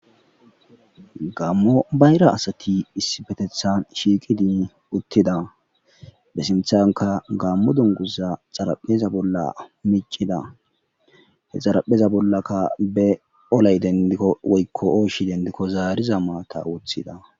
gammo bayra asati issifetethan shiiqidiin uttida be sinthanka gammo dunguza xarapheza bolla micida he xarapheza bollaka be olay dendikko woykko ooshi dendikko zaariza maata wothida